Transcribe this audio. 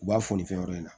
U b'a fo nin fɛn wɛrɛ in na